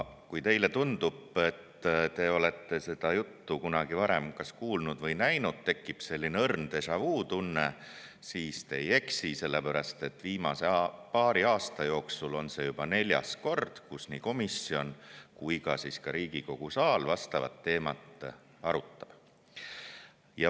Kui teile tundub, et te olete seda juttu kunagi varem kas kuulnud või näinud, tekib selline õrn déjà-vu tunne, siis te ei eksi, sellepärast et viimase paari aasta jooksul on see juba neljas kord, kui nii komisjon kui ka Riigikogu saal vastavat teemat arutab.